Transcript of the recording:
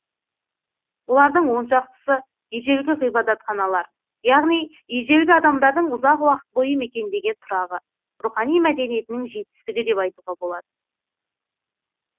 олардың оншақтысы ежелгі ғибадатханалар яғни ежелгі адамдардың ұзақ уақыт бойы мекендеген тұрағы рухани мәдениетінің жетістігі деп айтуға болады